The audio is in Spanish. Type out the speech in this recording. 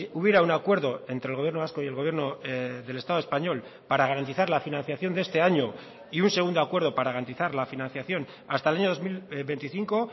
hubiera un acuerdo entre el gobierno vasco y el gobierno del estado español para garantizar la financiación de este año y un segundo acuerdo para garantizar la financiación hasta el año dos mil veinticinco